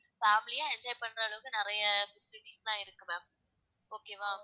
family ஆ enjoy பண்ற அளவுக்கு நிறைய இருக்கு ma'am okay வா